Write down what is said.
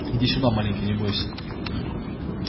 иди сюда маленький не бойся